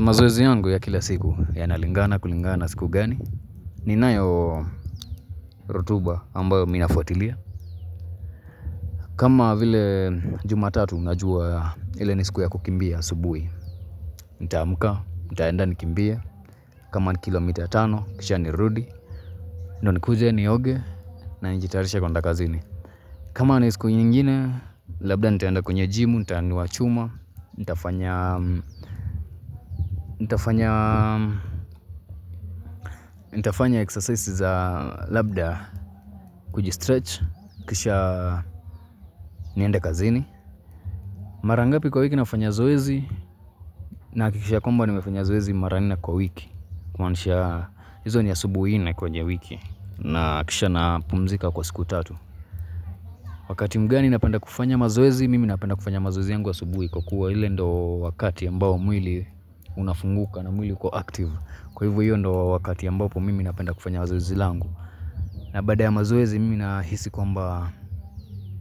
Mazoezi yangu ya kila siku yanalingana kulingana na siku gani ninayo rotuba ambayo mi nafuatilia kama vile jumatatu unajua ile ni siku ya kukimbia asubuhi Nitaamka, nitaenda nikimbie kama ni kilomita tano, kisha nirudi Ndio nikuje nioge, na nijitayarishe kwenda kazini kama ni siku nyingine, labda nitaenda kwenye jimu, nitaanuwa chuma nitafanya Nitafanya exercise za labda kujistretch Kisha niende kazini Mara ngapi kwa wiki nafanya zoezi Nahakikisha kwamba nimefanya zoezi mara nne kwa wiki kumaanisha hizo ni asubuhi nne kwenye wiki na kisha napumzika kwa siku tatu Wakati mgani napenda kufanya mazoezi Mimi napenda kufanya mazoezi yangu asubuhi Kwa kuwa ile ndo wakati ambao mwili unafunguka na mwili uko active Kwa hivo hiyo ndo wakati ambapo mimi napenda kufanya zoezi langu na baada ya mazoezi mimi nahisi kwamba